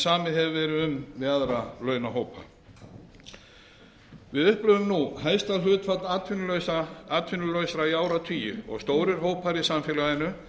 samið hefur verið um við aðra launahópa við upplifum nú hæsta hlutfall atvinnulausra í áratugi og stórir hópar í samfélaginu